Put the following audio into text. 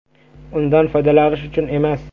Undan foydalanish uchun emas.